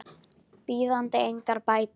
bíðandi engar bætur.